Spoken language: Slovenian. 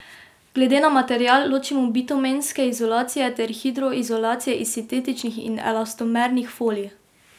Glede na material ločimo bitumenske izolacije ter hidroizolacije iz sintetičnih in elastomernih folij.